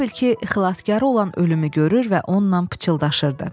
Elə bil ki, xilaskarı olan ölümü görür və onunla pıçıldaşırdı.